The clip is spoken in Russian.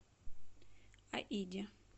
аиде